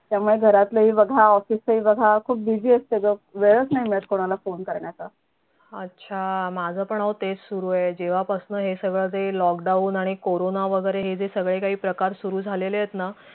त्यामुळे घरातला हि बघा office चं हि बघा खूप busy असत ग वेळच नाही मिळत कोनाला phone करण्याचा